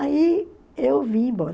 Aí eu vim embora.